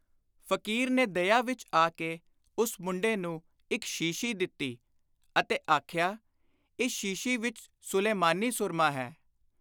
ਫ਼ਕੀਰ ਨੇ ਦਇਆ ਵਿਚ ਆ ਕੇ ਉਸ ਮੁੰਡੇ ਨੂੰ ਇਕ ਸ਼ੀਸ਼ੀ ਦਿੱਤੀ ਅਤੇ ਆਖਿਆ, “ਇਸ ਸ਼ੀਸ਼ੀ ਵਿਚ ਸੁਲੇਮਾਨੀ ਸੁਰਮਾ ਹੈ।